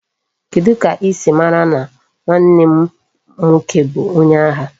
Kedu ka isi mara na nwanne m nwoke bu onye agha?